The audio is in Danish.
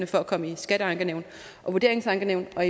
for at komme i skatteankenævn og vurderingsankenævn og